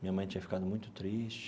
Minha mãe tinha ficado muito triste.